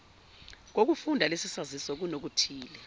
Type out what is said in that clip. kokufunda lesisaziso kunokuthile